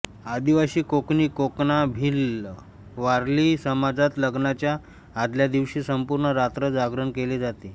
आदिवासी कोकणी कोकणा भिल्ल वारली समाजात लग्नाच्या आदल्या दिवशी संपूर्ण रात्र जागरण केले जाते